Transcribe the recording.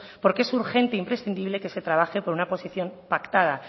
porque es urgente e imprescindible que se trabaje con una posición pactada